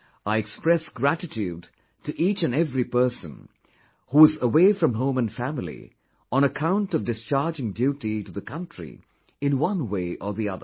I express gratitude to each and every person who is away from home and family on account of discharging duty to the country in one way or the other